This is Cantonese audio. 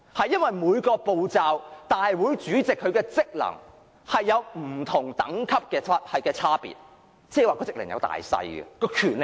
因為大會主席與委員會主席的職能有不同等級的差別，即權力是有大小之分的。